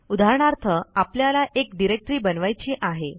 उदाहरणार्थ आपल्याला एक डिरेक्टरी बनवायची आहे